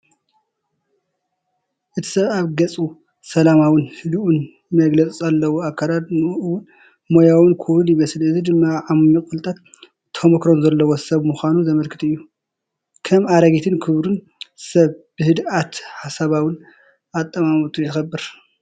እቲ ሰብ ኣብ ገጹ ሰላማውን ህዱእን መግለጺ ኣለዎ። ኣከዳድናኡ እውን ሞያውን ክቡርን ይመስል፣ እዚ ድማ ዓሚቕ ፍልጠትን ተመኩሮን ዘለዎ ሰብ ምዃኑ ዘመልክት እዩ። ከም ኣረጊትን ክቡርን ሰብ ብህድኣትን ሓሳባውን ኣጠማምታኡ ይኽበር።